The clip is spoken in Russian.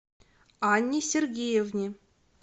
анне сергеевне